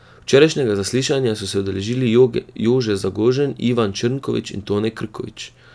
Včerajšnjega zaslišanja so se udeležili Jože Zagožen, Ivan Črnkovič in Tone Krkovič.